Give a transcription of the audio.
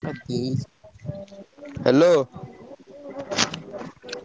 Hello ।